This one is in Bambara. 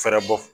Fɛrɛ bɔ